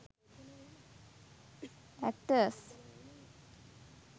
actors